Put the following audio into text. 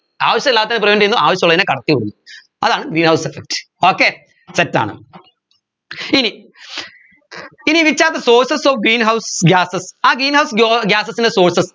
ആവശ്യമില്ലാത്തതിനെ prevent ചെയ്യുന്നു ആവശ്യമുള്ളതിനെ കടത്തി വിടുന്നു അതാണ് greenhouse effect okay set ആണ് ഇനി ഇനി which are the sources of greenhouse gases ആ greenhouse gases ൻറെ sources